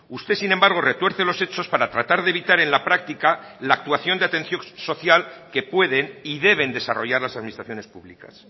usted sin embargo retuerce los hechos para tratar de evitar en la práctica la actuación de atención social que pueden y deben desarrollar las administraciones públicas